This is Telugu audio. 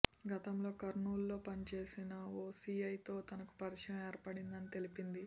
గతంలో కర్నూలులో పనిచేసిన ఓ సీఐతో తనకు పరిచయం ఏర్పడిందని తెలిపింది